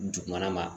Dugumana ma